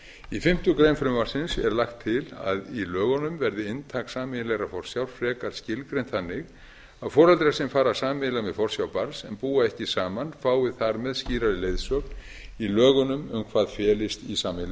í fimmtu grein frumvarpsins er lagt til að í lögunum verði inntak sameiginlegrar forsjár frekar skilgreint þannig að foreldrar sem fara sameiginlega með forsjá barns en búa ekki saman fái þar með skýrari leiðsögn í lögunum um hvað felist í sameiginlegri forsjá þá